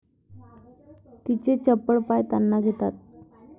तिचे चपळ पाय ताना घेतात.